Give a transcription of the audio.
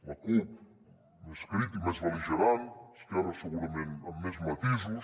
la cup més crític més bel·ligerant esquerra segurament amb més matisos